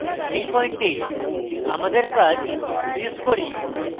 এই পয়েন্টে আমাদের কাজ freeze করি